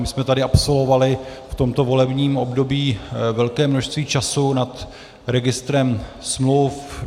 My jsme tady absolvovali v tomto volebním období velké množství času nad registrem smluv.